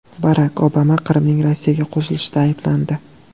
Barak Obama Qrimning Rossiyaga qo‘shilishida ayblandi.